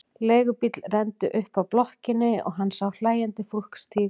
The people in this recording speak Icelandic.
Leigubíll renndi upp að blokkinni og hann sá hlæjandi fólk stíga út.